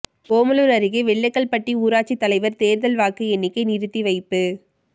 ஓமலூர் அருகே வெள்ளக்கல் பட்டி ஊராட்சி தலைவர் தேர்தல் வாக்கு எண்ணிக்கை நிறுத்தி வைப்பு